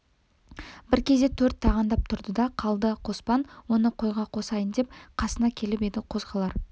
бір кезде төрт тағандап тұрды да қалды қоспан оны қойға қосайын деп қасына келіп еді қозғалар